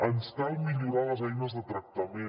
ens cal millorar les eines de tractament